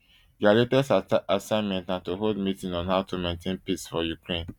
dia latest assignment na to hold meeting on how to maintain peace for ukraine